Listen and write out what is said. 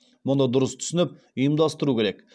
мұны дұрыс түсініп ұйымдастыру керек